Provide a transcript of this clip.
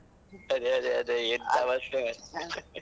ಅದೇ ಅದೇ ಅದೇ ಎಂತ ಅವಸ್ಥೆ